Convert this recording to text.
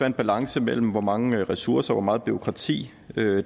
en balance mellem hvor mange ressourcer og hvor meget bureaukrati